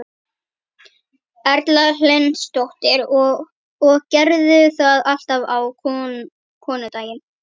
Erla Hlynsdóttir: Og gerirðu það alltaf á konudaginn?